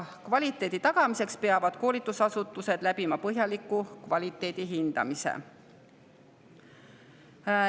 Kvaliteedi tagamiseks peavad koolitusasutused läbima põhjaliku kvaliteedihindamise.